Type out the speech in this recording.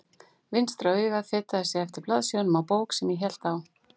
Vinstra augað fetaði sig eftir blaðsíðunum á bók sem ég hélt á.